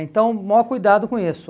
Então o maior cuidado com isso.